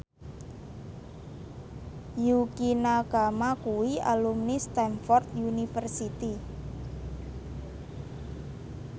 Yukie Nakama kuwi alumni Stamford University